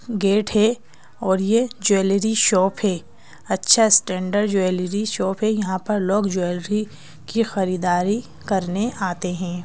Gate है और ये ज्वेलरी शॉप है अच्छा स्टैंडर्ड ज्वेलरी शॉप है यहां पर लोग ज्वेलरी की खरीदारी करने आते हैं।